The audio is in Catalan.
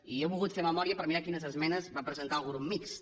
i jo he volgut fer memòria per mirar quines esmenes va presentar el grup mixt